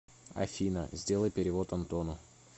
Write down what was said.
афина сделай перевод антону